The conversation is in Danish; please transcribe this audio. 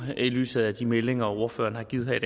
i lyset af de meldinger som ordførerne har givet her i